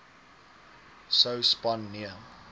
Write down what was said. sou span nee